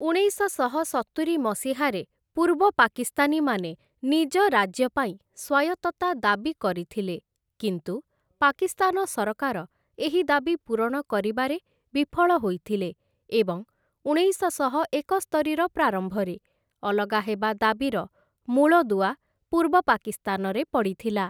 ଉଣେଇଶଶହ ସତୁରି ମସିହାରେ, ପୂର୍ବ ପାକିସ୍ତାନୀମାନେ ନିଜ ରାଜ୍ୟ ପାଇଁ ସ୍ୱାୟତ୍ତତା ଦାବି କରିଥିଲେ, କିନ୍ତୁ ପାକିସ୍ତାନ ସରକାର ଏହି ଦାବି ପୂରଣ କରିବାରେ ବିଫଳ ହୋଇଥିଲେ, ଏବଂ ଉଣେଇଶଶହ ଏକସ୍ତରିର ପ୍ରାରମ୍ଭରେ, ଅଲଗା ହେବା ଦାବିର ମୂଳଦୁଆ ପୂର୍ବ ପାକିସ୍ତାନରେ ପଡ଼ିଥିଲା ।